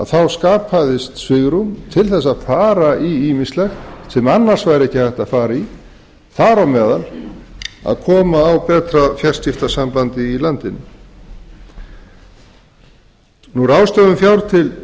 þá skapaðist svigrúm til þess að fara í ýmislegt sem annars væri ekki hægt að fara í þar á meðal að koma á betra fjarskiptasambandi í landinu ráðstöfun fjár til